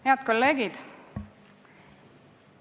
Head kolleegid!